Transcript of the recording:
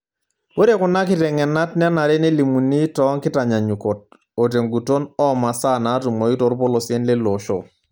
Ore kuna kiteng'enat nenare nelimuni toonkitanyanyukot oo tenguton oo masaa natumoi torpolosien leilo oshoo.